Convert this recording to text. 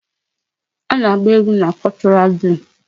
A na-agba egwu na Cultural day.